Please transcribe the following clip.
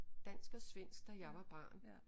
Dansk og svensk da jeg var barn